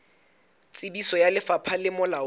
tsebiso ya lefapha le molaong